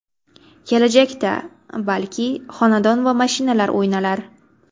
Kelajakda, balki, xonadon va mashinalar o‘ynalar.